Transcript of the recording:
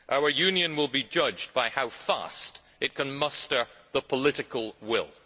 Our Union will be judged by how fast it can muster the political will.